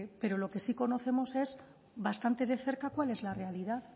pero lo que sí conocemos es bastante de cerca cuál es la realidad